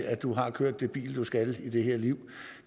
at du har kørt det bil du skal i det her liv